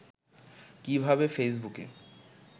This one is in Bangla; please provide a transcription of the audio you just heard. কীভাবে ফেসবুকে